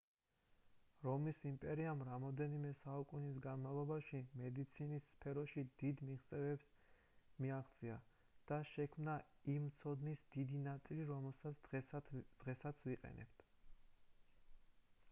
რომის იმპერიამ რამდენიმე საუკუნის განმავლობაში მედიცინის სფეროში დიდი მიღწევებს მიაღწია და შექმნა იმ ცოდნის დიდი ნაწილი რასაც დღესაც ვიყენებთ